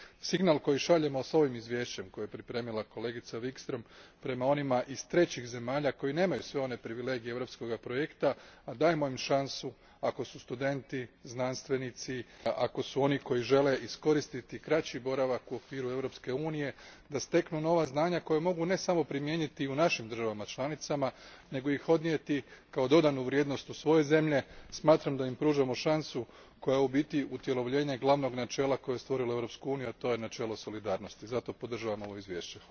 Signal koji šaljemo ovim izvješćem, koje je pripremila kolegica Wikström, prema onima iz trećih zemalja koji nemaju sve one privilegije europskog projekta, a dajemo im šansu ako su studenti, znanstvenici, ako su oni koji žele iskoristiti kraći boravak u okviru Europske unije da steknu nova znanja koja mogu ne samo primijeniti u našim državama članicama, nego ih odnijeti kao dodanu vrijednost u svoje zemlje smatram da im pružamo šansu koja je u biti utjelovljenje glavnog načela koje je stvorilo Europsku uniju, a to je načelo solidarnosti. Zato podržavam ovo izvješće.